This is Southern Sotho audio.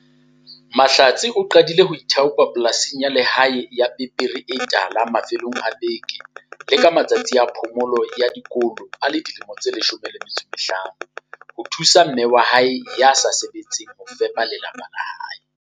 Mahlatse o qadile ho ithaopa polasing ya lehae ya pepere e tala mafelong a beke le ka matsatsi a phomolo ya dikolo a le dilemo di 15 ho thusa mme wa hae ya sa sebetseng ho fepa lapa la hae.